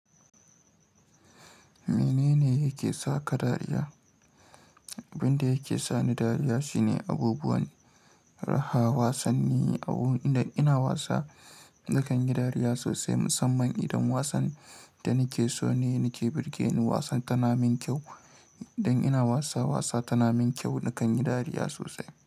Menene yake sa ka dariya? Abin da yake sani dariya shine abubuwan raha. Wasanni. Abubuwan idan ina wasa nakan yi dariya sosai, musamman idan wasan da nake so ne nake birgen wasan tana min kyau. Idan ina wasa wasa tana min kyau, nakan yi dariya sosai.